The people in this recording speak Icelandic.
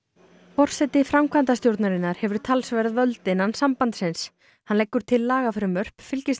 forseti framkvæmdastjórnarinnar hefur talsverð völd innan sambandsins hann leggur til lagafrumvörp fylgist